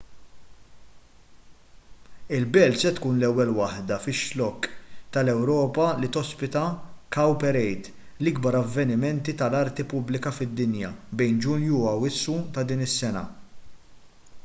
il-belt se tkun l-ewwel waħda fix-xlokk tal-ewropa li tospita cowparade l-ikbar avveniment tal-arti pubblika fid-dinja bejn ġunju u awwissu ta' din is-sena